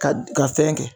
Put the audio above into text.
Ka fɛn kɛ